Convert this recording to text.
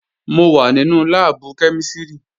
Mo wà nínú láàbù kẹ́mísìrì